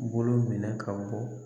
U bolo minɛ ka bɔ